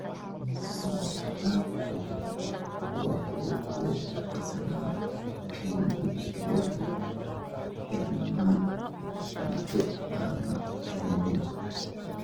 Inta badan khilaafku waxa uu ku qasbaa in dugsiyadu xidhmaan muddo aan la cayimin.